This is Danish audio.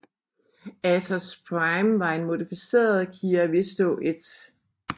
Atos Prime var en modificeret Kia Visto I